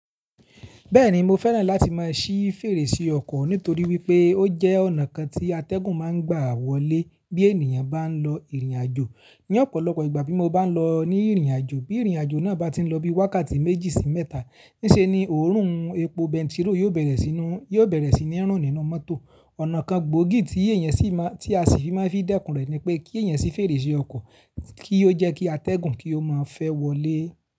Bẹ́ẹ̀ni, mo fẹ́ràn láti máa ṣí fèrèsé ọkọ̀ nítorí wípé ó jẹ́ ọ̀nà kan tí atẹ́gùn ma ń gba wọlé bí ènìyàn bá ń lọ ìrìnàjò. Ní ọ̀pọ̀lọpọ̀ ìgbà bí mo bá ń lọ ní ìrìnàjò, bí ìrìnàjò náà bá ti ń lọ bí wákàtí méjì sí mẹ́ta, níṣe ni òórùn epo bẹntiróò yóò bẹ̀rẹ̀ sí ní rún nínú mọ́tò. Ọ̀nà kan gbòógì tí èèyàn sì máa, tí a sì fi máa ń fi dẹ́kun rẹ̀ ni pé kí èèyàn ṣí fèrèsé ọkọ̀ kí ó jẹ́ kí atẹ́gùn kí ó máa fẹ́ wọlé.